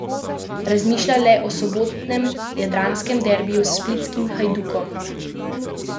Razmišlja le o sobotnem jadranskem derbiju s splitskim Hajdukom.